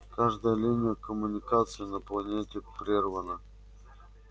каждая линия коммуникации на планете прервана